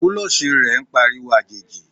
kulosí rẹ n pa ariwo ajejí